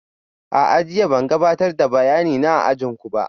A'a, jiya ban gabatar da bayanina a ajin ku ba